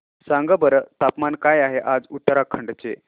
सांगा बरं तापमान काय आहे आज उत्तराखंड चे